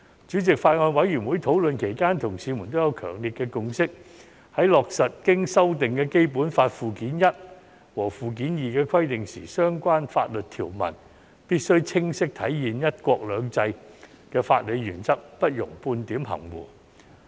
主席，法案委員會討論期間，同事們也有強烈的共識，在落實經修訂的《基本法》附件一和附件二的規定時，相關法律條文必須清晰體現"一國兩制"的法理原則，不容半點含糊。